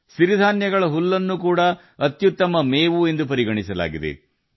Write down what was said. ಸಿರಿಧಾನ್ಯಗಳ ಹುಲ್ಲು ಕೂಡ ಅತ್ಯುತ್ತಮ ಮೇವು ಎಂದು ಪರಿಗಣಿಸಲಾಗಿದೆ